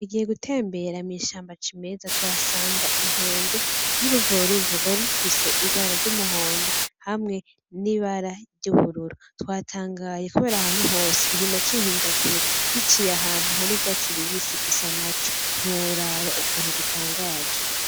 Tugiye gutembere mw'ishamba cimeza tuhasanga inkende n'uruvoruvo rwari rufise ibara ry'umuhondo , hamwe n'ibara ry'ubururu. Twatangaye kubera ahantu hose kiguma cihindagura , giciye ahantu hari ivyatsi bibisi gisa naco , ntiworaba ukuntu gitangaje.